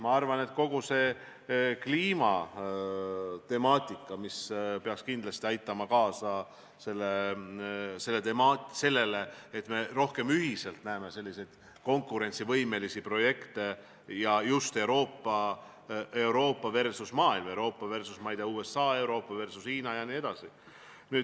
Ma arvan, et kogu see kliimatemaatika, mis peaks kindlasti aitama kaasa sellele, et me rohkem ühiselt näeksime konkurentsivõimelisi projekte, just Euroopa versus maailm, Euroopa versus, ma ei tea, USA, Euroopa versus Hiina jne.